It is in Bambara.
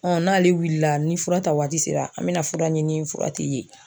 n'ale wulila, ni fura ta waati sera an bɛ na fura ɲini fura tɛ ye.